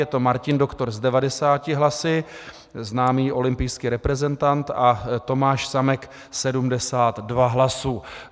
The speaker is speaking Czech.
Je to Martin Doktor s 90 hlasy, známý olympijský reprezentant, a Tomáš Samek 72 hlasů.